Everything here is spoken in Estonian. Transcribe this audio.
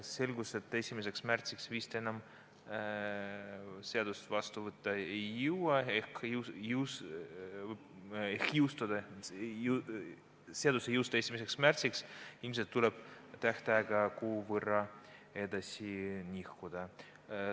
Selgus, et 1. märtsiks seadust vastu võtta vist ei jõua ehk seadus 1. märtsil ei jõustu, ilmselt tuleb tähtaega kuu võrra edasi nihutada.